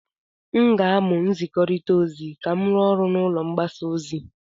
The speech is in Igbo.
M ga-amụ nzikọrịta ozi ka m rụọ ọrụ n'ụlọ mgbasa ozi.